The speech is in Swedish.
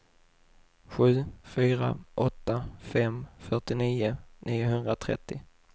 sju fyra åtta fem fyrtionio niohundratrettio